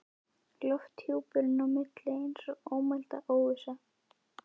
Og lofthjúpurinn á milli eins og ómæld óvissa.